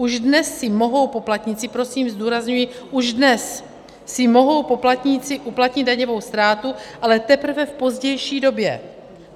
Už dnes si mohou poplatníci - prosím zdůrazňuji - už dnes si mohou poplatníci uplatnit daňovou ztrátu, ale teprve v pozdější době.